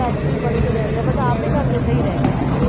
ਘਰ 'ਚ ਹੀ ਵੜ ਕੇ ਰਹਿ ਗਿਆ ਬਸ ਆਪਦੇ ਘਰ ਜੋਗਾ ਹੀ ਰਹਿ ਗਿਆ।